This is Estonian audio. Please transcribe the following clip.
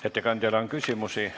Ettekandjale on küsimusi.